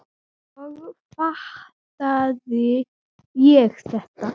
En svo fattaði ég þetta!